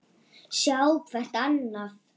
Sjá hvert annað.